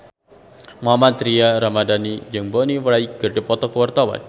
Mohammad Tria Ramadhani jeung Bonnie Wright keur dipoto ku wartawan